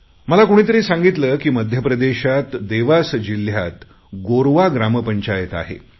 मला कुणीतरी सांगितले की मध्य प्रदेशात देवास जिल्ह्यात गोरवा ग्रामपंचायत आहे